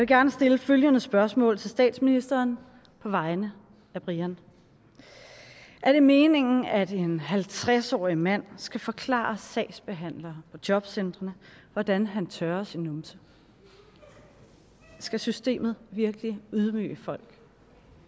gerne stille følgende spørgsmål til statsministeren på vegne af brian er det meningen at en halvtreds årig mand skal forklare sagsbehandlere på jobcentrene hvordan han tørrer sin numse skal systemet virkelig ydmyge folk